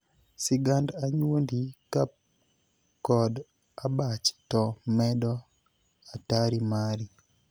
Sigand anyuondi ka kod abach to medo atari mari.